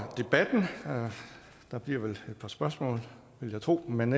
der bliver vel et par spørgsmål vil jeg tro men